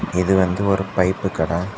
இது வந்து ஒரு பைப் கட.